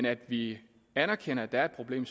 at vi anerkender at der er et problem